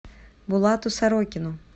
булату сорокину